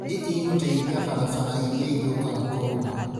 Nĩ ĩgũteithia barabara iria ithũkaga kwaura